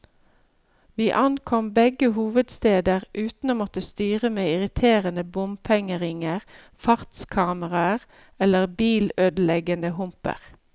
Vi ankom begge hovedsteder uten å måtte styre med irriterende bompengeringer, fartskameraer eller bilødeleggende humper.